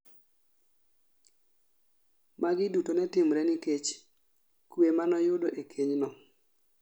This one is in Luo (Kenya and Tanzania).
Mago duto netimre nikech kwe manoyudo e keny no